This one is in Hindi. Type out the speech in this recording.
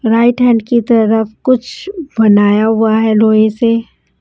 राइट हैंड की तरफ कुछ बनाया हुआ है लोहे से।